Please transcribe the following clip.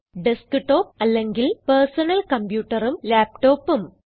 Desktopഅല്ലെങ്കിൽ personal Computerഉം Laptopഉം